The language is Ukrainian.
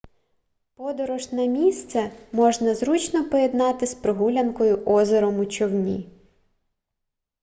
подорож на місце можна зручно поєднати з прогулянкою озером у човні